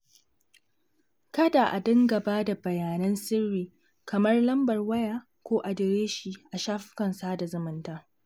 Kada a dinga ba da bayanan sirri kamar lambar waya ko adireshi a shafukan sada zumunta.